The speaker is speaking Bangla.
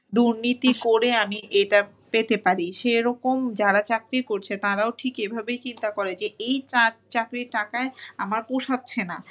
দুর্নীতি করে আমি এটা পেতে পারি সেরকম যারা চাকরি করছে তারাও ঠিক এভাবেই চিন্তা করে যে এই চাকরির টকায় আমার পোষাচ্ছে না।